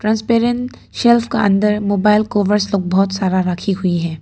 Transparent shelf के अंदर mobile covers लोग बहुत सारा रखी हुई है।